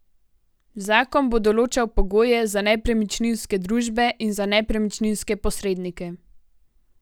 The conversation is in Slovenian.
Zakon bo določal pogoje za nepremičninske družbe in za nepremičninske posrednike.